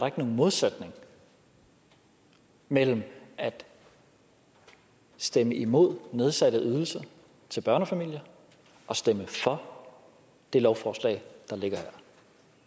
ikke nogen modsætning mellem at stemme imod nedsatte ydelser til børnefamilier og stemme for det lovforslag der ligger her